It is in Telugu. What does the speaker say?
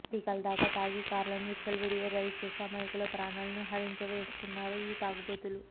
పీకల దాకా తాగి కార్లను విచ్చలవిడిగా డ్రైవ్ చేస్తూ అమాయకుల ప్రాణాలను హరించివేస్తున్నారు ఈ తాగుబోతులు